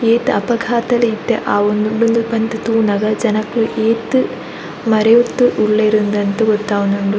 ಏತ್ ಅಪಘಾತಲ್ ಇತ್ತೆ ಆವೊಂದುಂಡು ಉಂದು ಮಾತ ತೂನಗ ಜನಕ್ಲೆಗ್ ಏತ್ ಮರೆಯೊಂದು ಉಲ್ಲೆರ್ ಅಂದ್ ಗೊತ್ತವೊಂದುಂಡು.